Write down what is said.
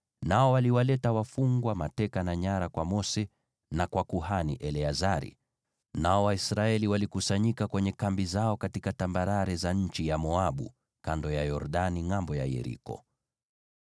nao waliwaleta wafungwa mateka na nyara kwa Mose na kwa kuhani Eleazari, nao Waisraeli walikusanyika kwenye kambi zao katika tambarare za nchi ya Moabu, kando ya Yordani ngʼambo ya Yeriko.